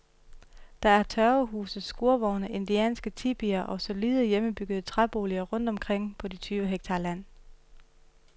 Der er tørvehuse, skurvogne, indianske tipier og solide, hjemmebyggede træboliger rundt omkring på de tyve hektar land.